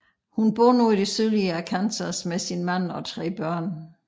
Hun bor nu i det sydlige Arkansas med sin mand og tre børn